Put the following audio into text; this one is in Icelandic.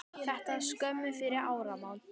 Þetta var skömmu fyrir áramót.